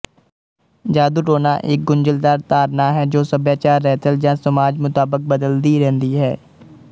ਜਾਦੂਟੂਣਾ ਇੱਕ ਗੁੰਝਲਦਾਰ ਧਾਰਨਾ ਹੈ ਜੋ ਸੱਭਿਆਚਾਰ ਰਹਿਤਲ ਜਾਂ ਸਮਾਜ ਮੁਤਾਬਕ ਬਦਲਦੀ ਰਹਿੰਦੀ ਹੈ